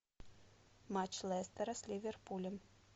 матч лестера с ливерпулем